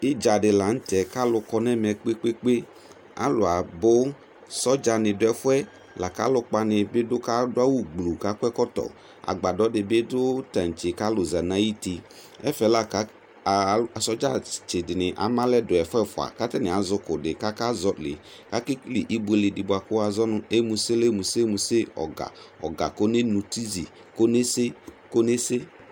Idza di laŋtɛ kalu kɔ nɛmɛ kpekpekpe Alu abʋ , sɔdza ni duɛfuɛ Lakʋ alukpa nibi dʋ , kadʋ awu gblu kakɔ ɛkɔtɔ Agbadɔ dibi dʋ taŋtse kalu za nayuti Ɛfɛ la kalu ɔɔ Sɔdza tsi dini ama alɛ du ɛfu ɛfua katani azɛ ku di kakazɔliAkekele ibuele di buakʋ wazɔnu emusele muse muse; Ɔga ɔga konemutizi konese konese